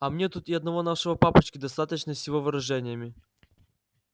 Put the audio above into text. а мне тут и одного нашего папочки достаточно с его выражениями